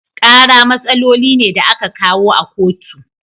Kara matsaloli ne da a ka kawo a kotu.